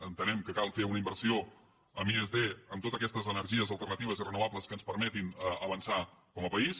entenem que cal fer una inversió en i+d en totes aquestes energies alternatives i renovables que ens permetin avançar com a país